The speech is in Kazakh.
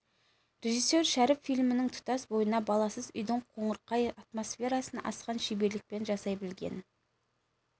режиссер шәріп фильмнің тұтас бойына баласыз үйдің қоңырқай атмосферасын асқан шеберлікпен жасай білген